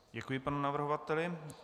Děkuji panu navrhovateli.